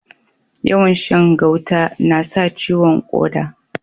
Yawan Shan gauta nasa ciwon koda